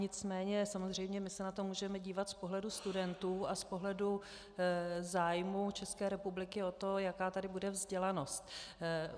Nicméně samozřejmě my se na to můžeme dívat z pohledu studentů a z pohledu zájmu České republiky o to, jaká tady bude vzdělanost.